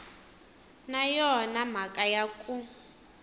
na yona mhaka ya ku